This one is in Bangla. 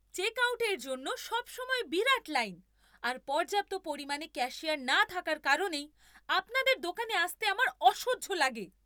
চেকআউটের জন্য সবসময় বিরাট লাইন আর পর্যাপ্ত পরিমাণে ক্যাশিয়ার না থাকার কারণেই আপনাদের দোকানে আসতে আমার অসহ্য লাগে।